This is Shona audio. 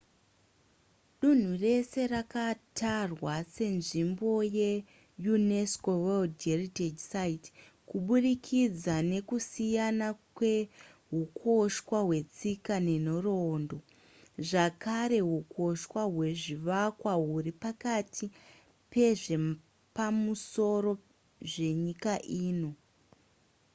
dunhu rese rakatarwa senzvimbo ye unesco world heritage site kuburikidza nekusiyana kwehukoshwa hwetsika nenhoroondo zvakare hukoshwa hwezvivakwa huri pakati pezvepamusoro zvenyika ino